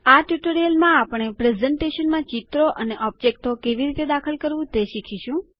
આ ટ્યુટોરીયલમાં આપણે પ્રસ્તુતિકરણ એટલેકે પ્રેઝન્ટેશનમાં ચિત્રો અને ઓબ્જેક્ટો કેવી રીતે દાખલ કરવું તે શીખીશું